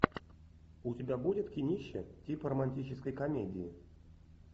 у тебя будет кинище типа романтической комедии